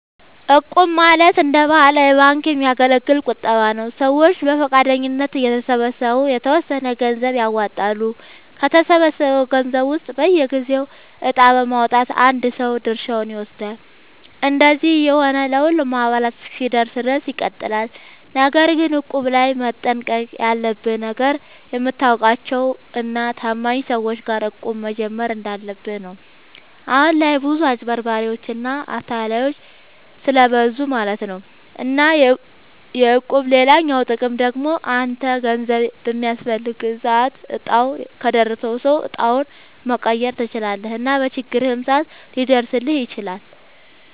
እቁብ ማለት እንደ ባህላዊ ባንክ የሚያገለግል ቁጠባ ነዉ። ሰዎች በፈቃደኝነት እየተሰባሰቡ የተወሰነ ገንዘብ ያዋጣሉ፣ ከተሰበሰበው ገንዘብ ውስጥ በየጊዜው እጣ በማዉጣት አንድ ሰው ድርሻውን ይወስዳል። እንደዚህ እየሆነ ለሁሉም አባላት እስኪደርስ ድረስ ይቀጥላል። ነገር ግን እቁብ ላይ መጠንቀቅ ያለብህ ነገር፣ የምታውቃቸው እና ታማኝ ሰዎች ጋር እቁብ መጀመር እንዳለብህ ነው። አሁን ላይ ብዙ አጭበርባሪዎች እና አታላዮች ስለብዙ ማለት ነው። እና የእቁብ ሌላኛው ጥቅም ደግሞ አንተ ገንዘብ በሚያስፈልግህ ሰዓት እጣው ከደረሰው ሰው እጣውን መቀየር ትችላለህ እና በችግርህም ሰዓት ሊደርስልህ ይችላል።